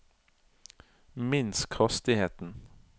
minsk hastigheten